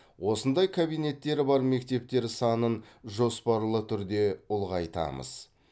осындай кабинеттері бар мектептер санын жоспарлы түрде ұлғайтамыз